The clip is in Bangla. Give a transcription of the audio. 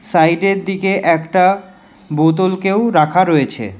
সাইডের দিকে একটা বোতল -কেও রাখা রয়েছে।